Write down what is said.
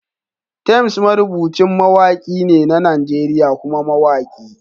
Temz marubucin mawaki ne na Najeriya kuma mawaki.